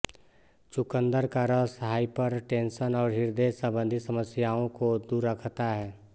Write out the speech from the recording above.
चुकंदर का रस हाइपरटेंशन और हृदय संबंधी समस्याओं को दूर रखता है